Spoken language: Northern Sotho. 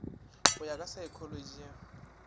go ya ka saekholotši ya